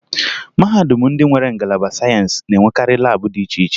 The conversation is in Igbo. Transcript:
Mahadum ndị nwere ngalaba sayensị na-enwekarị laabụ dị iche iche